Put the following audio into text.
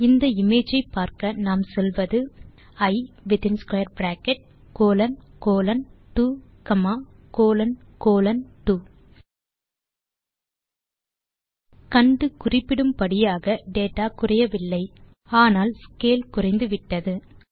இந்த இமேஜ் ஐ பார்க்க நாம் சொல்வது இ வித்தின் square bracket colon colon 2 comma colon colon 2 கண்டு குறிப்பிடும் படியாக டேட்டா குறையவில்லை ஆனால் ஸ்கேல் குறைந்துவிட்டது